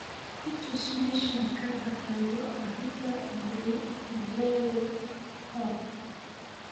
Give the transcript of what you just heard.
i tus meeshaan ka baxayo abita brew pub